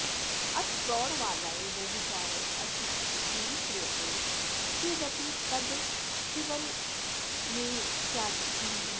अथ प्रौढवादाय व्यभिचारः अस्तीति अङ्गीक्रियते चेदपि तद् विफलमेव स्यादिति महिमा